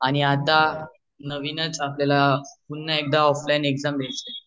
आणि आता नवीनच आपल्याला पुन्हा एकदा ऑफलाइन एक्जाम द्याचे आहेत